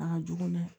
A ka jugu dɛ